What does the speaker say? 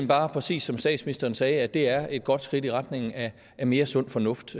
bare præcis som statsministeren sagde at det er et godt skridt i retning af mere sund fornuft